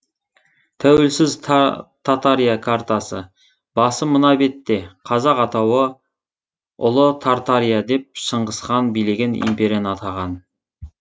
тәуелсіз татария картасы басы мына бетте қазақ атауы ұлы тартария деп шыңғыс хан билеген империяны атаған